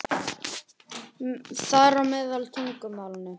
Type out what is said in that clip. Þar á meðal tungumálinu.